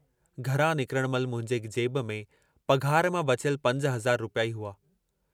घरां निकरण महिल मुंहिंजे जेब में पघार मां बचियल पंज हज़ार रुपया ई हुआ।